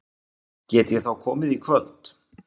Get ég þá komið í kvöld?